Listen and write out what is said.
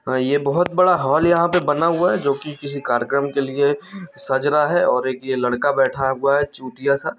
और ये बहोत बड़ा हाल बना हुआ हैजो किसी कार्यक्रम के लिए सज रहा हैऔर एक ये लड़का बैठा हुआ है चूतिया सा--